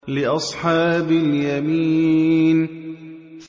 لِّأَصْحَابِ الْيَمِينِ